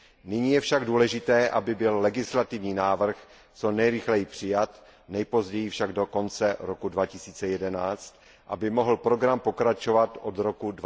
Nyní je však důležité, aby byl legislativní návrh co nejrychleji přijat, nejpozději však do konce roku 2011, aby mohl program pokračovat od roku